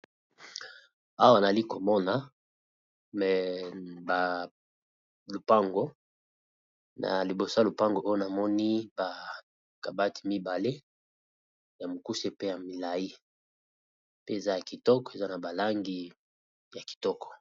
Awa nali komona me balupango na liboso ya lupango oyo namoni bakabati mibale ya mokuse pe ya mila,i pe eza ya kitoko eza na balangi ya kitoko.